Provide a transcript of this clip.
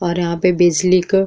और यहां पे बिजली क --